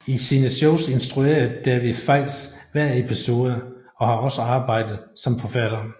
I sine shows instruerede David Feiss hver episode og har også arbejdet som forfatter